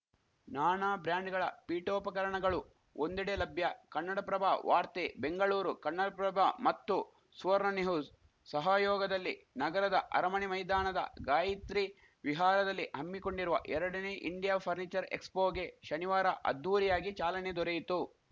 ನಾನಾ ಬ್ರ್ಯಾಂಡ್‌ಗಳ ಪೀಠೋಪಕರಣಗಳು ಒಂದೆಡೆ ಲಭ್ಯ ಕನ್ನಡಪ್ರಭ ವಾರ್ತೆ ಬೆಂಗಳೂರು ಕನ್ನಡಪ್ರಭ ಮತ್ತು ಸುವರ್ಣ ನ್ಯೂಹು ಸ್‌ ಸಹಯೋಗದಲ್ಲಿ ನಗರದ ಅರಮಣೆ ಮೈದಾಣದ ಗಾಯಿತ್ರಿ ವಿಹಾರದಲ್ಲಿ ಹಮ್ಮಿಕೊಂಡಿರುವ ಎರಡನೇ ಇಂಡಿಯಾ ಫರ್ನಿಚರ್‌ ಎಕ್ಸ್‌ಫೋಗೆ ಶನಿವಾರ ಅದ್ಧೂರಿಯಾಗಿ ಚಾಲನೆ ದೊರೆಯಿತು